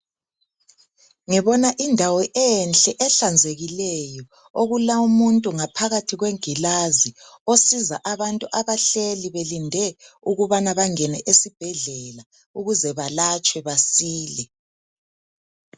Ngibona indawo enhle ehlanzekileyo okulawumuntu ngaphakathi kwengilazi osiza abantu abahleli belinde ukubana bangene esibhedlela ukuze balatshwe basile.